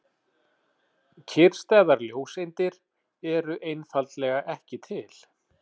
Kyrrstæðar ljóseindir eru einfaldlega ekki til.